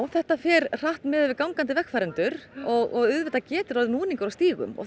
þetta fer hratt miðað við gangandi vegfarendur og auðvitað getur orðið núningur á stígum og